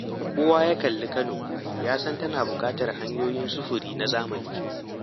Kowa ya kalli Kano ya san tana buƙatar hanyoyin sufuri na zamani.